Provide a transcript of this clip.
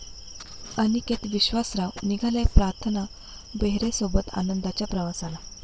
अनिकेत विश्वासराव निघालाय प्रार्थना बेहरेसोबत आनंदाच्या प्रवासाला